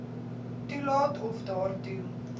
toelaat of daartoe